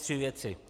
Tři věci.